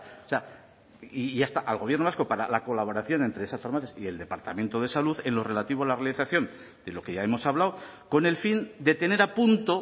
o sea y ya está al gobierno vasco para la colaboración entre esas farmacias y el departamento de salud en lo relativo a la realización de lo que ya hemos hablado con el fin de tener a punto